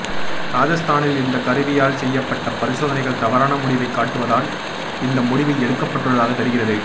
ராஜஸ்தானில் இந்த கருவியால் செய்யப்பட்ட பரிசோதனைகள் தவறான முடிவை காட்டுவதால் இந்த முடிவு எடுக்கப்பட்டுள்ளதாக தெரிகிறது